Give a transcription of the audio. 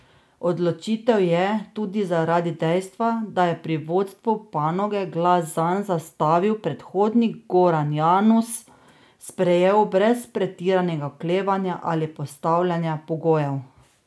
Odločitev je, tudi zaradi dejstva, da je pri vodstvu panoge glas zanj zastavil predhodnik Goran Janus, sprejel brez pretiranega oklevanja ali postavljanja pogojev.